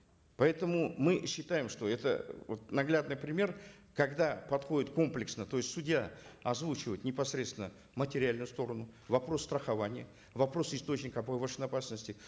поэтому мы считаем что это вот наглядный пример когда подходит комплексно то есть судья озвучивает непосредственно материальную сторону вопрос страхования вопрос источника повышенной опасности